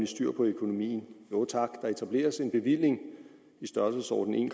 styr på økonomien jo tak der etableres en bevilling i størrelsesordenen